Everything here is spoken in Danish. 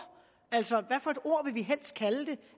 altså